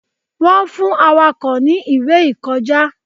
Wọn fún Awakọ̀ ni ìwé ìkọjá